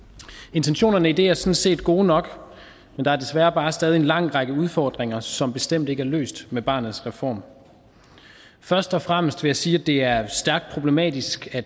intentionerne i det er sådan set gode nok men der er desværre bare stadig en lang række udfordringer som bestemt ikke er løst med barnets reform først og fremmest vil jeg sige at det er stærkt problematisk at